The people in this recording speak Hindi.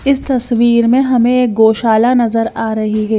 इस तस्वीर में हमें एक गौशाला नजर आ रही है।